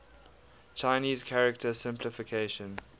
chinese character simplification